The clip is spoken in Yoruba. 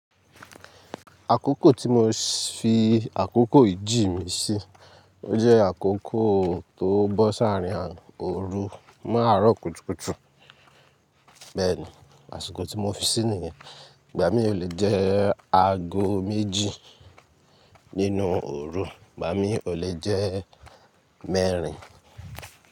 Àkókò tí mo fi àkókò ìjí mi sí, o jẹ́ àkókò tó bó s'arin òru mọ́ àárọ̀ kùtùkùtù. Bẹ́ẹ̀ni, àsìkò tí mo fi sí ni yẹn. Igbà mí o le jẹ́ aago méjì nínú òru, igbà mí o le jẹ́ mẹ́rin.